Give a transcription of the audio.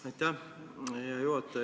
Aitäh, hea juhataja!